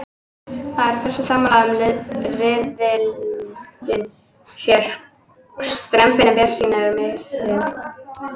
Það eru flestir sammála um að riðillinn sé strembinn en bjartsýnin er mismikil.